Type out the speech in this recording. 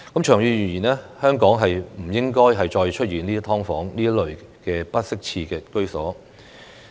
長遠而言，香港不應該再出現"劏房"這類不適切居所。